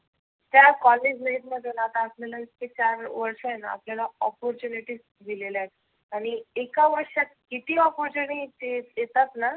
त्या कॉलेज मधुन आता आपल्याला opportunities दिलेल्या आणि एका वर्षाच्या आत किती opportunity देतात ना